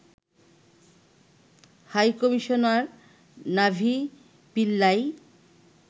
high commissioner Navi Pillay